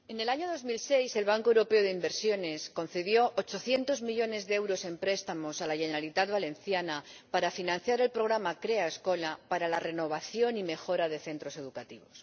Señor Presidente, en el año 2006 el Banco Europeo de Inversiones concedió 800 millones de euros en préstamos a la Generalitat Valenciana para financiar el programa Crea Escola, para la renovación y mejora de centros educativos.